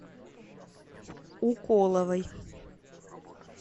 уколовой